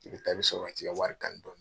I bɛ taa i bɛ sɔrɔ ka t'i ka wari kani. dɔɔnin.